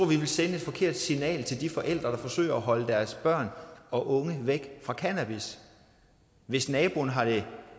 vi vil sende et forkert signal til de forældre der forsøger at holde deres børn og unge væk fra cannabis hvis det